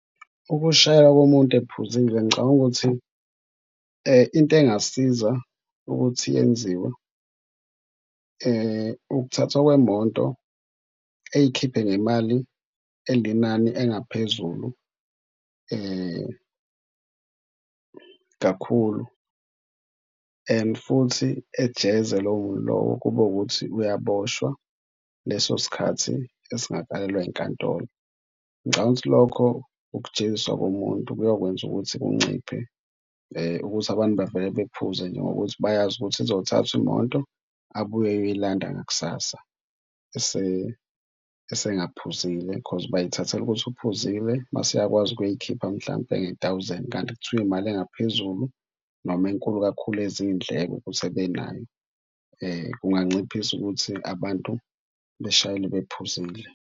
Ukushayela komuntu ephuzile ngicabanga ukuthi into engasiza ukuthi yenziwe ukuthathwa kwemoto ey'khiphe ngemali elinani engaphezulu kakhulu and futhi ejeze lowo muntu lowo kube ukuthi uyaboshwa leso sikhathi esingakelelwa yinkantolo. Ngicabanga ukthi lokho ukujeziswa komuntu kuyokwenza ukuthi kunciphe ukuthi abantu bavele bephuze nje ngokuthi bayazi ukuthi izothathwa imoto abuye eyoyilanda ngakusasa esengaphuzile because bayithathela ukuthi uphuzile mase eyakwazi ukuyoyikhipha mhlampe nge-thousand. Kanti kuthiwe imali engaphezulu noma enkulu kakhulu ezindleko ukuthi ebenayo kunganciphisa ukuthi abantu beshayele bephuzile.